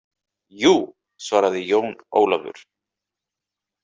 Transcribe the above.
Jú, svaraði Jón Ólafur.